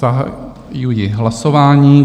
Zahajuji hlasování.